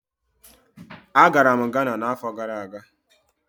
Agara m Ghana n'afọ gara aga.